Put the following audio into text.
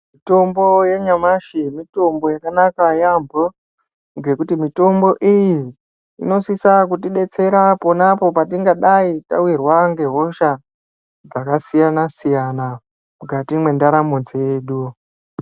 Mitombo yanyamashi mitombo yakanaka yaampho ngekuti mitombo iyi inosisa kutidetsera ponapo petingadai tawirwa ngehosha dzakasiyana siyana mukati mwndaramo dzedu.